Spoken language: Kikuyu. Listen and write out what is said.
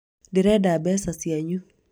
ndĩrenda mbeca cianyu